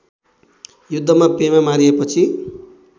युद्धमा पेमा मारिएपछि